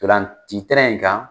Tolanci tɛrɛn in kan.